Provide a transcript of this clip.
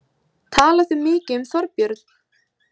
Tala þau mikið um Þorbjörn?